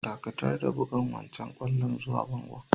Dakatar da bugan wancan kwallon zuwa bangon!